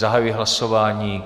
Zahajuji hlasování.